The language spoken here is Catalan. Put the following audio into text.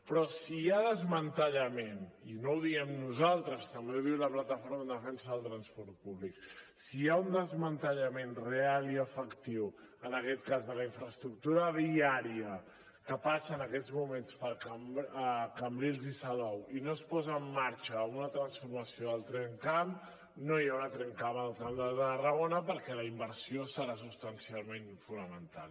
però si hi ha desmantellament i no ho diem nosaltres també ho diu la plataforma en defensa del transport públic si hi ha un desmantellament real i efectiu en aquest cas de la infraestructura viària que passa en aquests moments per cambrils i salou i no es posa en marxa una transformació del tramcamp no hi haurà tramcamp al camp de tarragona perquè la inversió serà substancialment fonamental